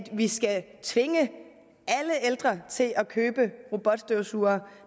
vi skal tvinge alle ældre til at købe robotstøvsugere